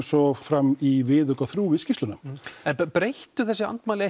svo fram í viðauka þrjú skýrslunnar breyttu þessi andmæli